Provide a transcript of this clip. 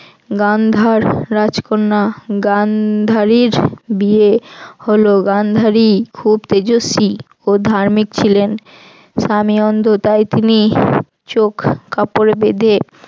গান্ধার রাজকন্যা গান্ধারীর বিয়ে হল গান্ধারী খুব তেজস্বি ও ধার্মিক ছিলেন। স্বামী অন্ধ তাই তিনি চোখ কাপড়ে বেঁধে